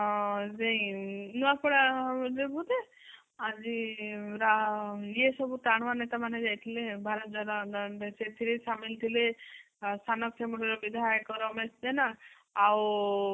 ଆଁ ନୂଆପଡା ଯୋଗୁ ଯେ ଆଜି ରା ଇଏ ଇଏ ସବୁ ଟାଣୁଆ ନେତା ମାନେ ଭାତର ର ସେଥିରେ ସାମିଲ ଥିଲେ ସାନଖେମୁଣ୍ଡି ର ବିଧାୟକ ରମେଶ ଜେନା ଆଉ